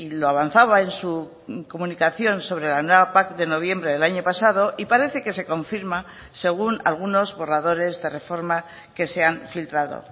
lo avanzaba en su comunicación sobre la nueva pac de noviembre del año pasado y parece que se confirma según algunos borradores de reforma que se han filtrado